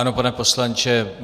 Ano, pane poslanče.